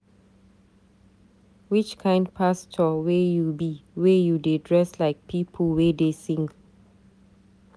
which kind pastor wey you be wey you dey dress like pipu wey dey sing?